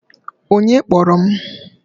Onye kpọrọ m?